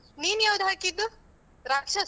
ನೀನ್ ಯಾವ್ದು ಹಾಕಿದ್ದು? ರಾಕ್ಷಸ.